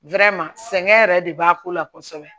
sɛgɛn yɛrɛ de b'a ko la kosɛbɛ